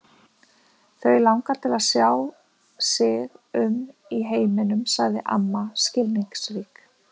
Þau langar til að sjá sig um í heiminum sagði amma skilningsrík.